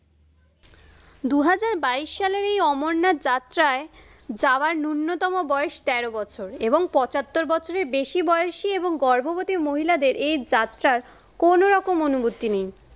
দু হাজার বাইশ সালের এই অমরনাথ যাত্রায় যাওয়ার নুন্যতম বয়স তেরো বছর এবং পঁচাত্তর বছরের বেশী বয়সী এবং গর্ভবতী মহিলাদের এই যাত্রার কোনো রকম অনুমতি নেই।